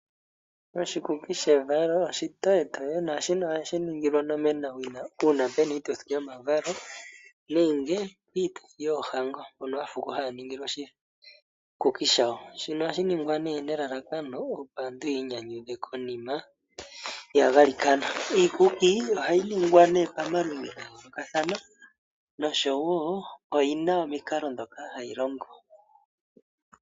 Oshikuki shevalo oshitoyetoye naashino ohashi ningilwa onomenawina uuna pu na iitithi yomavalo nenge iituthi yoohango, mono aafuko haya ningilwa oshikuki shawo. Shino ohashi ningwa nee nelalakano opo aantu yiinyanyudhe konima yagalikana. Iikuki ohayi ningwa nee pamaludhi ga yoolokathana nosho woo oyina omikalo ndhoka hayi longo.